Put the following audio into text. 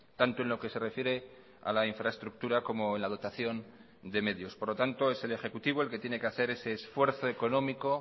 tanto en lo que se refiere a la infraestructura como en la dotación de medios por lo tanto es el ejecutivo el que tiene que hacer ese esfuerzo económico